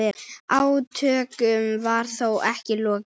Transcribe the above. Átökum var þó ekki lokið.